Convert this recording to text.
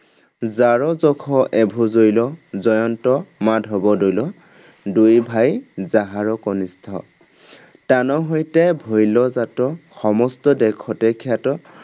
যাৰ যশ এভো জ্বলৈ জয়ন্ত মাধৱ দলৈ দুই ভাই যাহাৰ কনিষ্ঠ॥ তান হৈতে ভৈল জাত সমস্ত দেশতে খ্যাত